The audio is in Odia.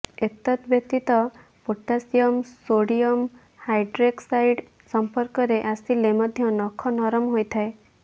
ଏତଦ୍ବ୍ୟତୀତ ପୋଟାସିୟମ୍ ସୋଡ଼ିୟମ୍ ହାଇଡ୍ରେକ୍ ସାଇଡ଼୍ ସଂପର୍କରେ ଆସିଲେ ମଧ୍ୟ ନଖ ନରମ ହୋଇଥାଏ